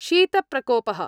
शीत-प्रकोपः